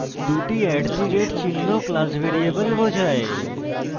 দুটি @@চিহ্ন class variable বোঝায়